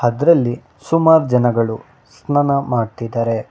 ಅದ್ರಲ್ಲಿ ಸುಮಾರ್ ಜನಗಳು ಸ್ನಾನ ಮಾಡ್ತಿದ್ದಾರೆ.